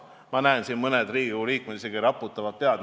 Ma näen, et mõned Riigikogu liikmed raputavad pead.